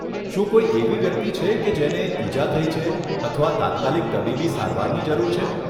શું કોઈ એવી વ્યક્તિ છે કે જેને ઈજા થઈ છે અથવા તાત્કાલિક તબીબી સારવારની જરૂર છે?